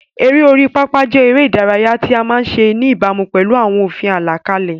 Eré orí pápá jẹ́ eré ìdárayá tí a máa ń ṣe ní ìbámu pẹ̀lú àwọn òfin àlàkalẹ̀.